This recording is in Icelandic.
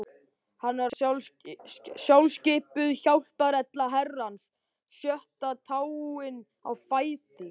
Hann var sjálfskipuð hjálparhella Herrans, sjötta táin á fæti